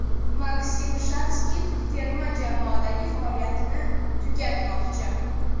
Maksim Shatskix terma jamoadagi faoliyatini tugatmoqchi .